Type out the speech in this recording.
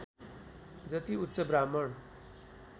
जति उच्च ब्राह्मण